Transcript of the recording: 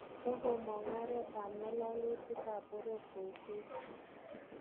Kogomook oret ab ng'ololutiik ab boror kou Facebook.